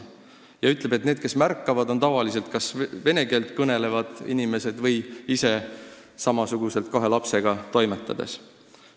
Ja ta on veel seda öelnud, et need, kes teda märkavad, on tavaliselt kas vene keelt kõnelevad inimesed või ise samasugused, kahe lapsega toimetavad inimesed.